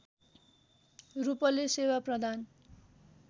रूपले सेवा प्रदान